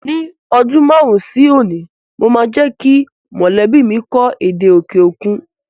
Ní ọdún márùn-ún sí òní mo máa jẹ́ kí mọ̀lẹ́bí mi kọ́ èdè òkè òkun